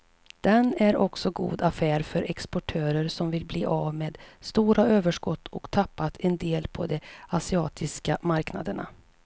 Den är också god affär för exportörer som vill bli av med stora överskott och tappat en del på de asiatiska marknaderna.